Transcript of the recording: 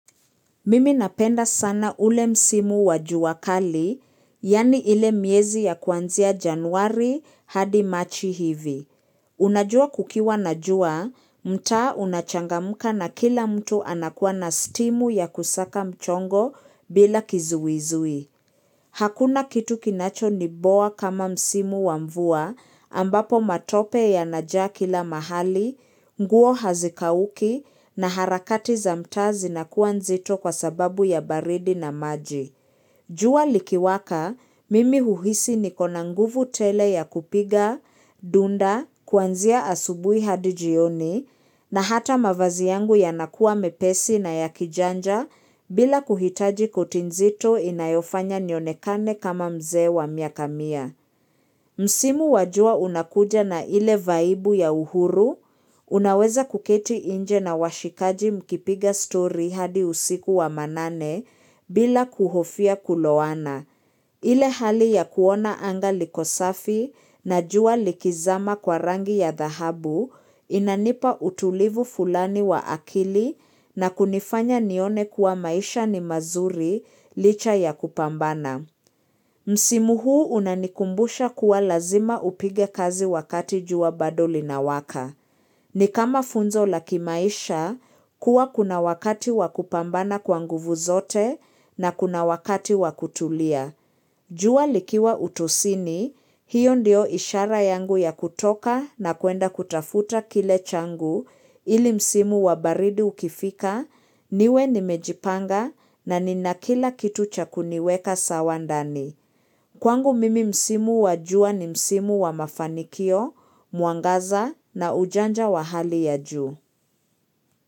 Mimi napenda sana ule msimu wa jua kali, yaani ile miezi ya kuanzia januari hadi machi hivi. Unajua kukiwa na jua, mtaa unachangamka na kila mtu anakuwa na stimu ya kusaka mchongo bila kizuizui. Hakuna kitu kinachoniboa kama msimu wa mvua ambapo matope yanajaa kila mahali, nguo hazikauki na harakati za mtaa zinakua nzito kwa sababu ya baridi na maji. Jua likiwaka, mimi uhisi nikona nguvu tele ya kupiga dunda kuanzia asubui hadi jioni, na hata mavazi yangu yanakua mepesi na ya kijanja bila kuhitaji kuti nzito inayofanya nionekane kama mzee wa miaka mia. Msimu wajua unakuja na ile vaibu ya uhuru, unaweza kuketi inje na washikaji mkipiga story hadi usiku wa manane bila kuhofia kulowana. Ile hali ya kuona anga liko safi na jua likizama kwa rangi ya dhahabu inanipa utulivu fulani wa akili na kunifanya nione kuwa maisha ni mazuri licha ya kupambana. Msimu huu unanikumbusha kuwa lazima upige kazi wakati jua bado linawaka. Ni kama funzo la kimaisha kuwa kuna wakati wa kupambana kwa nguvu zote na kuna wakati wa kutulia. Jua likiwa utosini hiyo ndio ishara yangu ya kutoka na kuenda kutafuta kile changu ili msimu wa baridi ukifika niwe nimejipanga na nina kila kitu cha kuniweka sawa ndani. Kwangu mimi msimu wa jua ni msimu wa mafanikio, mwangaza na ujanja wa hali ya juu.